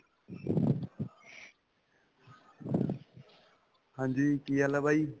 ਹਾਂਜੀ, ਕੀ ਹਾਲ ਹੈਂ ਬਾਈ?